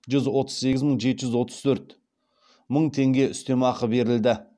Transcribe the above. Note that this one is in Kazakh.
жүз отыз сегіз мың жеті жүз отыз төрт мың теңге үстем ақы берілді